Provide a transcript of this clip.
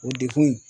O degun in